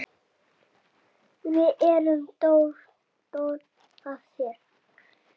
Við erum stolt af þér.